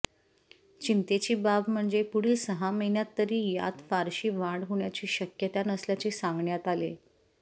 चिंतेची बाब म्हणजे पुढील सहा महिन्यांत तरी यात फारशी वाढ होण्याची शक्यता नसल्याचे सांगण्यात आले